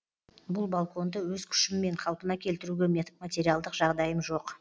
бұл балконды өз күшіммен қалпына келтіруге материалдық жағдайым жоқ